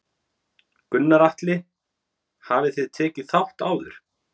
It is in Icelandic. Gunnar Atli: Hafið þið tekið þátt áður?